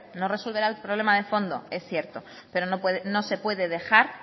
no resolverá el problema de fondo es cierto pero no se puede dejar